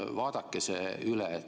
Vaadake see üle.